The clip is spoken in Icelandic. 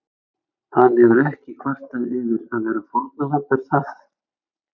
Hann hefur ekki kvartað yfir að vera fórnarlamb er það?